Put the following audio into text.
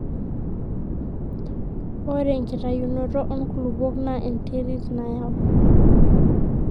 ore enkitayunoto oonkulupuok naa enterit nayau